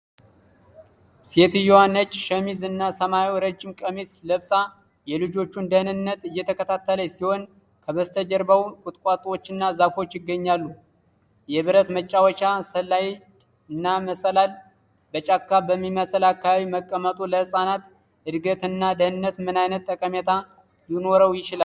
ሴትየዋ ነጭ ሸሚዝ እና ሰማያዊ ረጅም ቀሚስ ለብሳ የልጆቹን ደህንነት እየተከታተለች ሲሆን፣ ከበስተጀርባው ቁጥቋጦዎችና ዛፎች ይገኛሉ። የብረት መጫወቻ ስላይድ እና መሰላል በጫካ በሚመስል አካባቢ መቀመጡ፣ ለህጻናት እድገት እና ደህንነት ምን አይነት ጠቀሜታ ሊኖረው ይችላል?